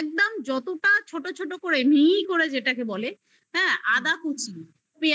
একদম যতটা ছোট ছোট করে মিহি মিহি করে যেটাকে বলে হ্যা আধা কুচ পেঁয়াজ